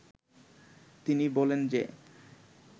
তিনি বলেন যে